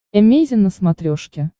эмейзин на смотрешке